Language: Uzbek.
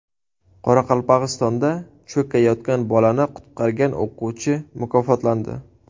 Qoraqalpog‘istonda cho‘kayotgan bolani qutqargan o‘quvchi mukofotlandi.